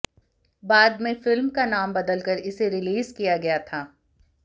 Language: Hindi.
बाद में फिल्म का नाम बदलकर इसे रिलीज किया गया था